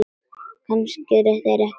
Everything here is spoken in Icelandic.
Kannski eru þeir ekki löggur.